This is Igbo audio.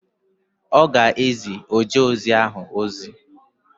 Ọ ga-ezi ojeozi ahụ ozi.